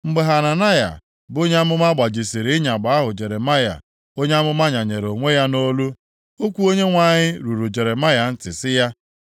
Mgbe Hananaya bụ onye amụma gbajisiri ịyagba + 28:12 Lit. Yoku ahụ Jeremaya, onye amụma nyanyere onwe ya nʼolu, okwu Onyenwe anyị ruru Jeremaya ntị sị ya,